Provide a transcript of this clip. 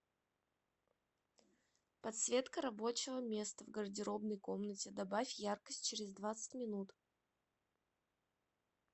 подсветка рабочего места в гардеробной комнате добавь яркость через двадцать минут